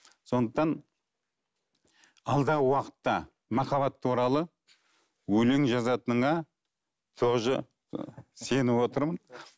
сондықтан алдағы уақытта махаббат туралы өлең жазатыныңа тоже сеніп отырмын